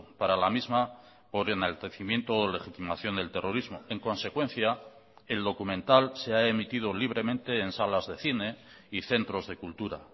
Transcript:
para la misma por enaltecimiento o legitimación del terrorismo en consecuencia el documental se ha emitido libremente en salas de cine y centros de cultura